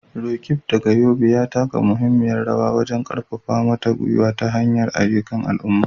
Roqeeb, daga Yobe, ya taka muhimmiyar rawa wajen karfafa mata ta hanyar ayyukan al'umma.